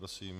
Prosím.